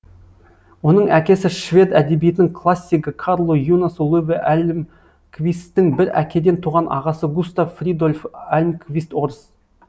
оның әкесі швед әдебиетінің классигі карлу юнасу луве альмквисттің бір әкеден туған ағасы густав фридольф альмквист орыс